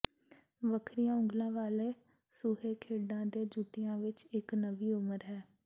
ਵੱਖਰੀਆਂ ਉਂਗਲਾਂ ਵਾਲੇ ਸੂਹੇ ਖੇਡਾਂ ਦੇ ਜੁੱਤਿਆਂ ਵਿਚ ਇਕ ਨਵੀਂ ਉਮਰ ਹੈ